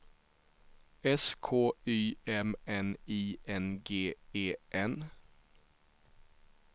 S K Y M N I N G E N